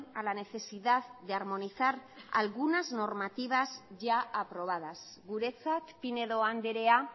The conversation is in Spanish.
a la necesidad de armonizar algunas normativa ya aprobadas guretzat pinedo andrea